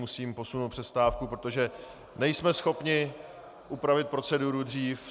Musím posunout přestávku, protože nejsme schopni upravit proceduru dřív.